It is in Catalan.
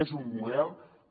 és un model que